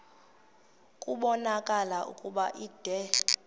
kubonakala ukuba ude